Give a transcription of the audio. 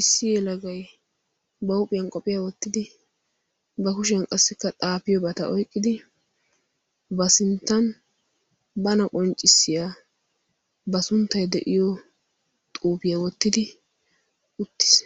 Issi yelagay ba huuphiyan qophiyaa wottidi ba kushiyan qassikka xaafiyo bata oyqqidi ba sinttan bana qonccissiyaa ba sunttai de'iyo xuufiyaa wottidi uttiis